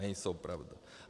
Nejsou pravda.